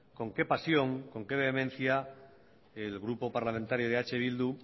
con qué pasión con qué vehemencia el grupo parlamentario de eh bildu